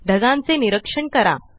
ढगांचे निरीक्षण करा